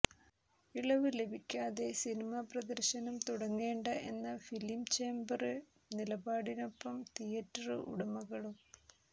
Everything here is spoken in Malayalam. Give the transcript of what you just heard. ഇളവുകള് ലഭിക്കാതെ സിനിമാ പ്രദര്ശനം തുടങ്ങേണ്ട എന്ന ഫിലിം ചേംബര് നിലപാടിനൊപ്പം തിയറ്റര് ഉടമകളും